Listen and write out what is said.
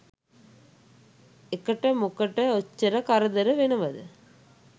එකට මොකට ඔච්චර කරදර වෙනවද?